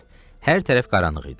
Hər tərəf qaranlıq idi.